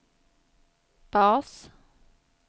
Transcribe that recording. bas